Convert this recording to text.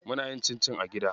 Muna yin cincin a gida.